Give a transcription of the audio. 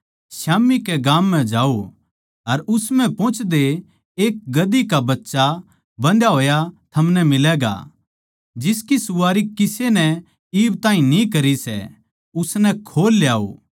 स्याम्ही कै गाम म्ह जाओ अर उस म्ह पोहचदे एक गधी का बच्चा बन्धया होया थमनै मिलैगा जिसकी सवारी किसे नै इब ताहीं न्ही करी सै उसनै खोल ल्याओ